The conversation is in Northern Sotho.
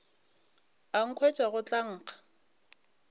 a nkhwetša go tla nkga